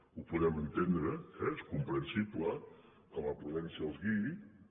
ho podem entendre eh és comprensible que la prudència els guiï